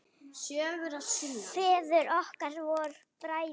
Feður okkar voru bræður.